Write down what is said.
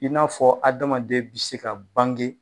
I n'a fɔ adamaden bɛ se ka bange.